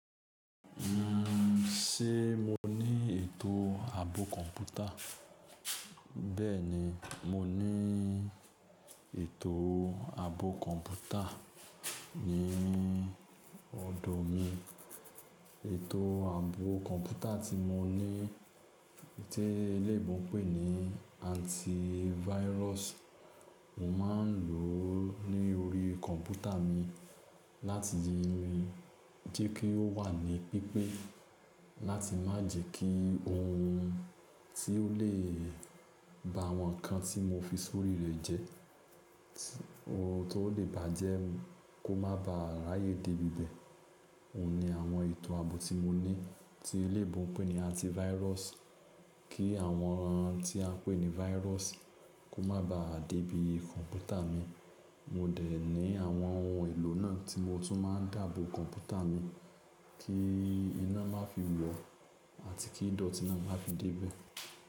Ṣé mo ní ètò ààbò kọ̀ǹpútà? Bẹ́ẹ̀ni, mo ní ètò ààbò kọ̀ǹpútà ní ọ̀dọ̀ mi. Ètò ààbò kọ̀ǹpútà tí mo ní tí eléyinbo ń pè ní antivirus. Mo máa ń ló ní orí kọ̀ǹpútà mi, láti ríi jẹ́ kí ó wà ní pípé, láti má jẹ́ kí ohun tí ó lè ba àwọn ǹkan tí mo fi sórí rẹ̀ jẹ, ohun tó lè bàjẹ́ kó má baà ráyè dé bí bẹ̀. Óun ní àwọn ètò ààbò tí mo ní tí eleyinbo ń pè ní antivirus kí àwọn ohun tí a ń pè ní virus kó má baà dé bí kọ̀ǹpútà mi. Mo dẹ̀ ní àwọn ohun èlò náà tí mo tún máa ń dààbò kọ̀ǹpútà mi kí iná má fi wọ̀ àti kí dọ̀ọ̀tí náà má fi dé ibẹ̀.